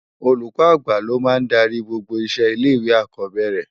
Ólúkò ágbá ló má n dàri gbógbó iṣé ilé iwé ákòbèrè